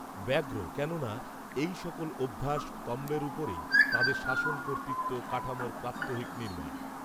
ব্যগ্র কেননা, এই সকল অভ্যাস, স্তম্ভের উপরেই, তাঁহাদের শাসন কর্তৃত্ব, কাঠামোর প্রাত্যহিক নির্মাণ